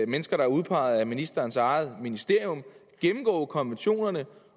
mennesker der er udpeget af ministerens eget ministerium gennemgå konventionerne